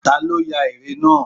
Ta ló ya ère náà?